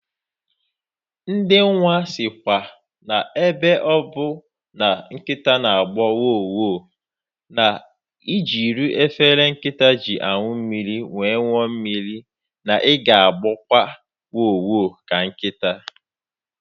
Ndị nwa sikwa na ebe ọbụ na nkịta na agbọ wo! wo!, na ijiri efele nkịta ji anụ mmiri wee ṅụọ mmiri, na ị ga agboba wo!wo! ka nkịta